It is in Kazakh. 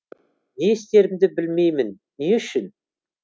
не істерімді білмеймін не үшін